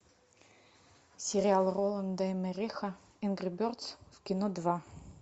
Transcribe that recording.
сериал роланда эммериха энгри бердз в кино два